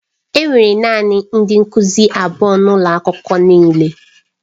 Enwere naanị ndị nkuzi abụọ n'ụlọ akwụkwọ niile.